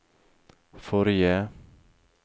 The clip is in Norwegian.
forrige